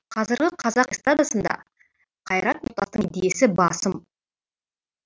қазіргі қазақ эстрадасында қайрат нұртастың десі басым